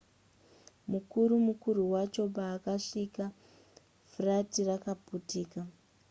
mukuru mukuru wacho paakasvika furati rakaputika